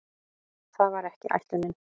Það var ekki ætlunin.